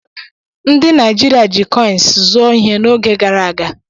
Ndị Naijiriia jị kọins zụọ ihe oge gara aga.